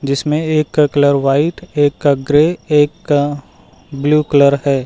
जिसमें एक का कलर व्हाइट एक का ग्रे एक का ब्लू कलर है।